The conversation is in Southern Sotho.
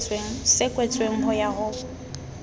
se kwetsweng ho ya ho